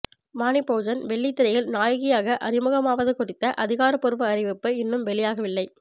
வாணி போஜன் வெள்ளித்திரையில் நாயகியாக அறிமுகமாவது குறித்த அதிகாரப்பூர்வ அறிவிப்பு இன்னும் வெளியாகவில்லை